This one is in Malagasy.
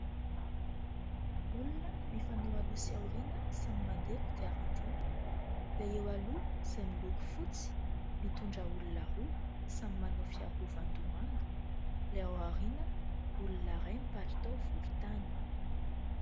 Olona mifanao aloha sy aoriana samy mandeha kodiaran-droa, ilay eo aloha izay miloko fotsy mitondra olona roa samy manao fiarovan-doha manga, ilay aoriana olona iray palitao volontany.